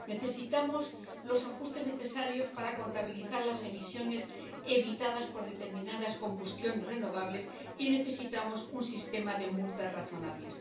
Necesitamos los ajustes necesarios para contabilizar las emisiones evitadas por determinadas combustiones de renovables y necesitamos un sistema de multas razonables.